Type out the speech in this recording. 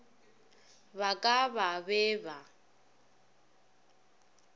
ba ka ba be ba